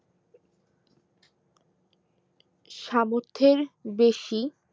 সামর্থের বেশি